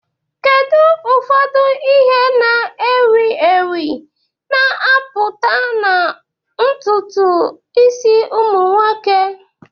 Kedu ụfọdụ ihe na ewi ewi na-apụta na ntutu isi ụmụ nwoke?